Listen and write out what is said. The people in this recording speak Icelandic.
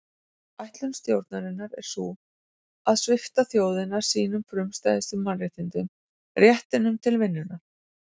Ætlun stjórnarinnar er sú að svipta þjóðina sínum frumstæðustu mannréttindum réttinum til vinnunnar.